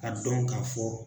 Ka dɔn k'a fɔ.